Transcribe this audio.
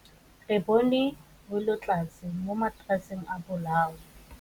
Re bone wêlôtlasê mo mataraseng a bolaô.